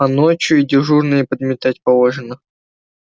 а ночью и дежурные подметать положено